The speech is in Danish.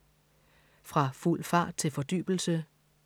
Fra fuld fart til fordybelse